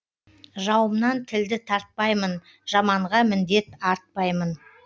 жауымнан тілді тартпаймын жаманға міндет артпаймын